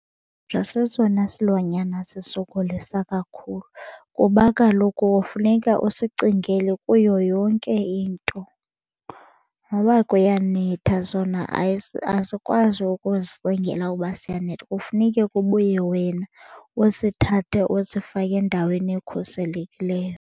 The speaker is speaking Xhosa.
Sesona silwanyana sisokolisa kakhulu kuba kaloku funeka usicingele kuyo yonke into. Noba kuyanetha sona asikwazi ukuzicingela uba siyanethwa kufuneke kubuye wena usithathe usifake endaweni ekhuselekileyo.